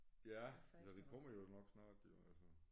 Ja så det kommer jo nok snart jo altså